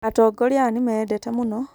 Atongoria aya nĩmeyendete mũno